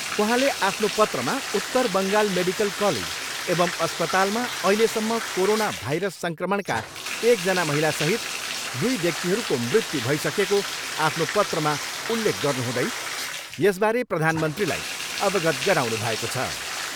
उहाँले आफ्नो पत्रमा उत्तर बङ्गाल मेडिकल कलेज एवम अस्पतालमा अहिलेसम्म कोरोना भाइरस सङ्क्रमणका एकजना महिलासहित दुई व्यक्तिहरूको मृत्यु भइसकेको आफ्नो पत्रमा उल्लेख गर्नुहुँदै यसबारे प्रधानमन्त्रीलाई अवगत गराउनु भएको छ।